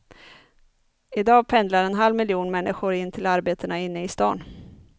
Idag pendlar en halv miljon människor in till arbetena inne i stan.